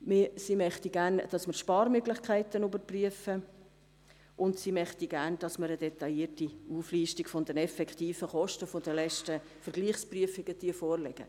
Sie möchte gerne, dass wir Sparmöglichkeiten überprüfen, und sie möchte gerne, dass wir eine detaillierte Auflistung der effektiven Kosten der letzten Vergleichsprüfungen vorlegen.